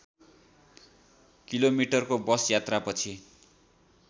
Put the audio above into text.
किलोमिटरको बस यात्रापछि